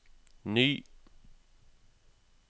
ny